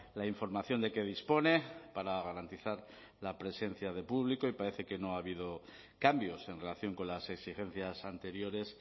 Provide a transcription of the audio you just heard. la información de que dispone para garantizar la presencia de público y parece que no ha habido cambios en relación con las exigencias anteriores